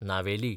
Navelim